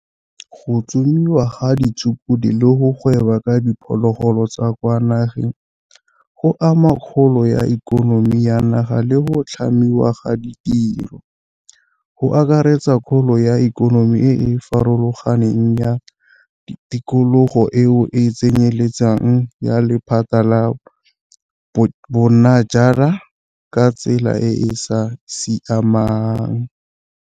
Go tsomiwa ga ditshukudu le go gweba ka diphologolo tsa kwa nageng go ama kgolo ya ikonomi ya naga le go tlhamiwa ga ditiro, go akaretsa kgolo ya ikonomi e e farologaneng ya tikologo eo e tsenyeletsang ya lephata la bonajanala ka tsela e e sa siamang.